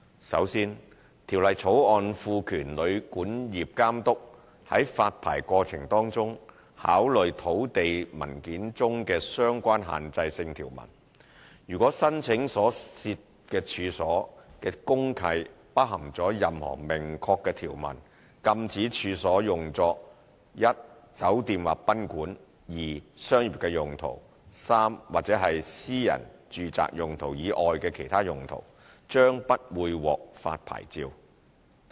首先，《條例草案》賦權旅館業監督在發牌過程中考慮土地文件中的相關限制性條文，如果申請所涉處所的公契包含任何明確條文，禁止處所用作一酒店或賓館；二商業用途；或三私人住宅用途以外的其他用途，將不會獲發牌照。